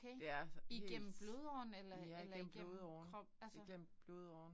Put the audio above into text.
Det er altså helt ja igennem blodåren igennem blodåren